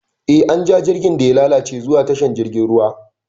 Eh, an ja jirgin da ya lalace zuwa tashar jirgin ruwa.